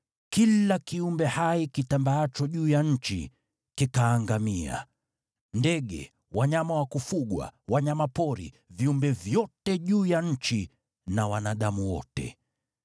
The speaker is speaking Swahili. Kila kiumbe hai kitambaacho juu ya nchi kikaangamia: Ndege, wanyama wa kufugwa, wanyama pori, viumbe vyote juu ya nchi na wanadamu wote.